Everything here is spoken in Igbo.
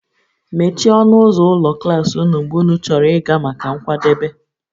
Mechie ọnụ ụzọ ụlọ klas ụnụ mgbe ụnụ chọrọ ịga maka nkwadebe